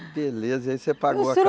Que beleza, aí você pagou a ca